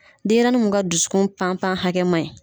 Denyɛrɛnin mun ka dusu pan pan hakɛ maɲi.